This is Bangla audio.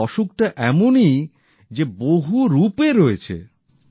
এই অসুখটা এমনই যে বহুরূপে রয়েছে